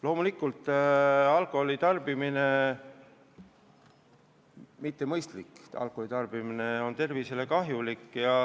Loomulikult, mittemõistlik alkoholi tarbimine on tervisele kahjulik.